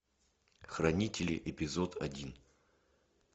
хранители эпизод один